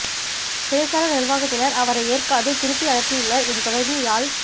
சிறைசாலை நிர்வாகத்தினர் அவரை ஏற்காது திருப்பி அனுப்பயுள்ளனர் இது தொடர்பில் யாழ்